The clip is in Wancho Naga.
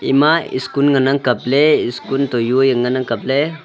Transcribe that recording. ema skun ngan nang kap le skun to juaiyang ngan ang kaple.